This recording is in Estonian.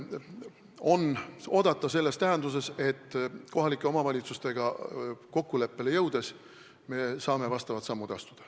On oodata selles tähenduses, et kohalike omavalitsustega kokkuleppele jõudes me saame vastavaid samme astuda.